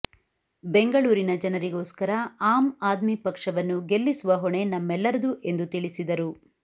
ಬೆಂಗಳೂರಿನ ಜನರಿಗೋಸ್ಕರ ಆಮ್ ಆದ್ಮಿ ಪಕ್ಷವನ್ನು ಗೆಲ್ಲಿಸುವ ಹೊಣೆ ನಮ್ಮೆಲ್ಲರದು ಎಂದು ತಿಳಿಸಿದರು